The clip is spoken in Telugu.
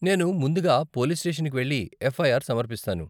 నేను ముందుగా పోలీస్ స్టేషన్కి వెళ్లి ఎఫ్ఐఆర్ సమర్పిస్తాను.